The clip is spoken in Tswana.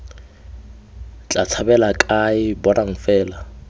tla tshabela kae bonang fela